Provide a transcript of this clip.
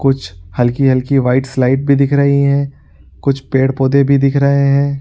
कुछ हल्की-हल्की whites light भी दिख रही है | कुछ पेड़-पौधे पर दिख रहे हैं |